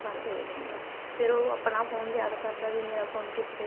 ਬੰਦ ਹੋ ਜਾਂਦਾ ਫ਼ੇਰ ਉਹ ਆਪਣਾ phone ਯਾਦ ਕਰਦਾ ਏ ਵੀ ਮੇਰਾ phone ਕਿੱਥੇ ਏ